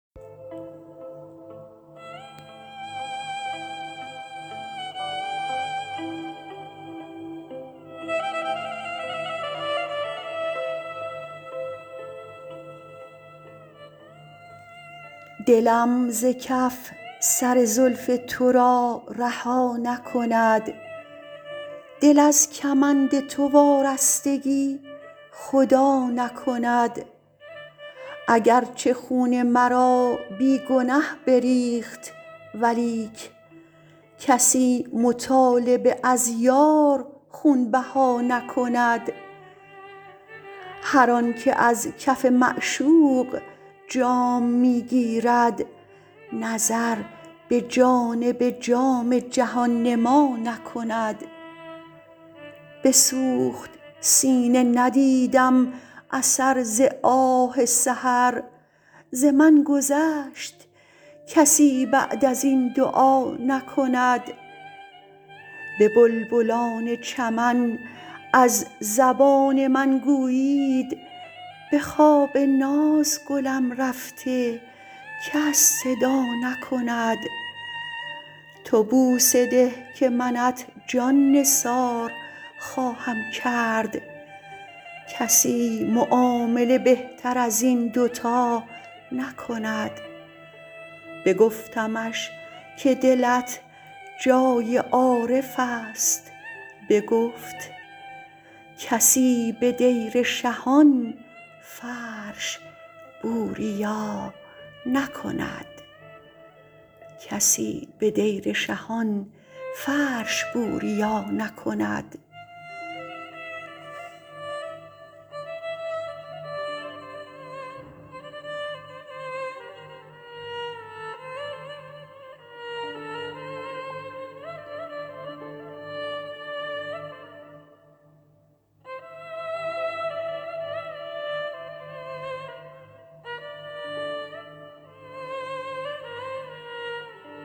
دلم ز کف سر زلف تو را رها نکند دل از کمند تو وارستگی خدا نکند اگرچه خون مرا بی گنه بریخت ولیک کسی مطالبه از یار خون بها نکند هر آنکه از کف معشوق جام می گیرد نظر به جانب جام جهان نما نکند بسوخت سینه ندیدم اثر ز آه سحر ز من گذشت کسی بعد از این دعا نکند به بلبلان چمن از زبان من گویید به خواب ناز گلم رفته کس صدا نکند تو بوسه ده که منت جان نثار خواهم کرد کسی معامله بهتر از این دو تا نکند بگفتمش که دلت جای عارف است بگفت کسی به دیر شهان فرش بوریا نکند